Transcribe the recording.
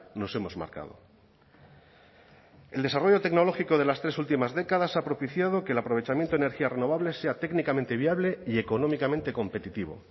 nos hemos marcado el desarrollo tecnológico de las tres últimas décadas ha propiciado que el aprovechamiento de energías renovables sea técnicamente viable y económicamente competitivo